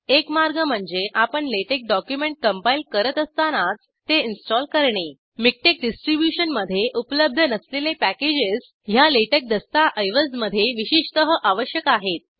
एक मार्ग म्हणजे आपण लॅटेक्स डॉक्युमेंट कंपाईल करत असतानाच ते इंस्टॉल करणे मिकटेक्स डिस्ट्रिब्युशनमध्ये उपलब्ध नसलेले पॅकेजेस ह्या लॅटेक्स दस्तऐवज मध्ये विशेषतः आवश्यक आहेत